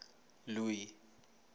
louis